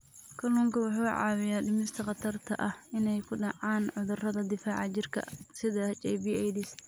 Kalluunku wuxuu caawiyaa dhimista khatarta ah inay ku dhacaan cudurrada difaaca jirka sida HIV/AIDS.